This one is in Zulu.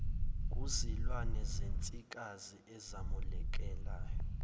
kuzilwane zensikazi ezamukelayo